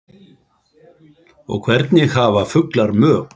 og Hvernig hafa fuglar mök?